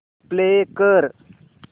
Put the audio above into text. play कर